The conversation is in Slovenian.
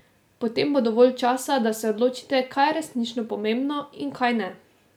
Potem bo dovolj časa, da se odločite, kaj je resnično pomembno in kaj ne.